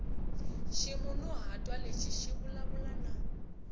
ximunhuhatwa lexi xi vulavula na